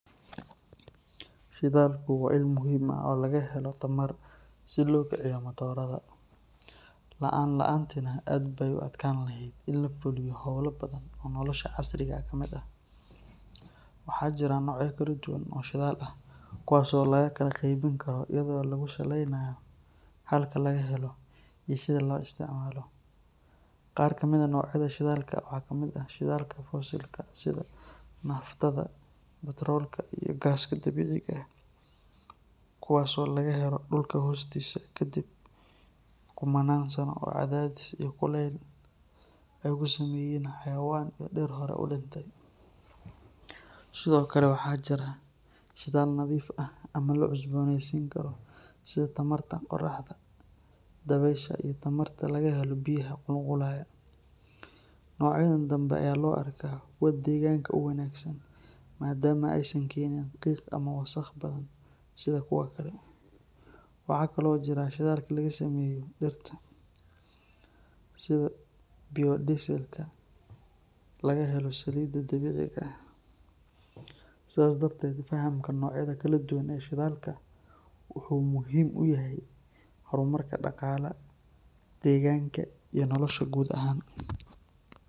Shidalku waa il muhiim ah oo laga helo tamar lagu kiciyo motada, waxaa jira nocya kala duban oo shidaal ah kuwaas oo laga kala qeybin Karo, qaar kamid ah nocyada shidalka waxaa kamid ah fossil ,naftada iyo gaaska dabiiciga ah, kuwaas oo laga helo dulka hoostiisa, sido kale waxaa jira shidaal nadiif ah sida qoraxda iyo dabeesha, waxaa kale oo jira shidaal laga sameeyo dirta sida biodiesel ,in labarto nocyada kala duban ee shidalka wuxuu muhiim uyahay nolosha dadka.